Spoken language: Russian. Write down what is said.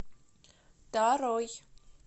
тарой